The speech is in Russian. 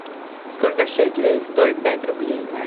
сколько шекелей стоят пять рублей